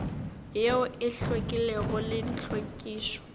yeo e hlwekilego le tlhwekišo